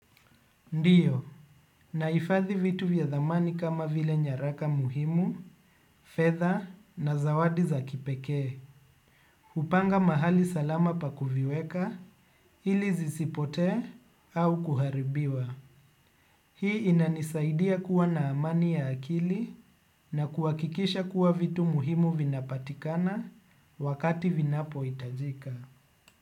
Ndiyo, naifadhi vitu vya dhamani kama vile nyaraka muhimu, fedha na zawadi za kipeke, upanga mahali salama pa kuviweka ili zisipote au kuharibiwa. Hii inanisaidia kuwa na amani ya akili na kuwakikisha kuwa vitu muhimu vinapatikana wakati vinapo itajika.